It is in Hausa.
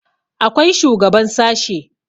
akwai shugaban sashe